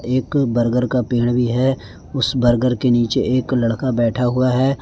एक बर्गर का पेड़ भी है उस बर्गर के नीचे एक लड़का बैठा हुआ है।